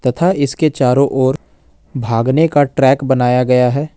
तथा इसके चारों ओर भागने का ट्रैक बनाया गया है।